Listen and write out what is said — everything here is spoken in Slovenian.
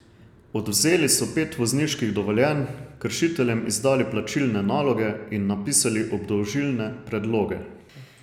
Odvzeli so pet vozniških dovoljenj, kršiteljem izdali plačilne naloge in napisali obdolžilne predloge.